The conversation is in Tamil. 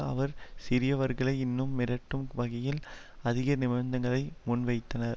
அவர் சிரியவர்களை இன்னும் மிரட்டும் வகையில் அதிக நிபந்தங்களை முன்வைத்தனர்